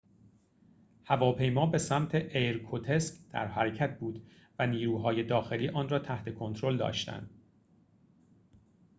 هواپیما به سمت ایرکوتسک در حرکت بود و نیروهای داخلی آن را تحت کنترل داشتند